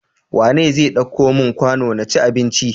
Wane zai ɗauko mun kwano naci abinci?